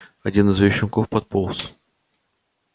один из её щенков подполз